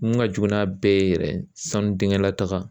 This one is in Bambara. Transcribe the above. Mun ka jugu n'a bɛɛ ye yɛrɛ sanu denkɛ la taga